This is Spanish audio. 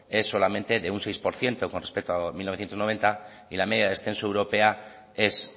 es solamente de un seis por ciento con respecto a mil novecientos noventa y la media de descenso europea es